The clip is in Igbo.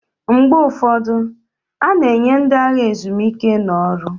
Mgbe ụfọdụ, a na-enye ndị agha ezumike n'ọrụ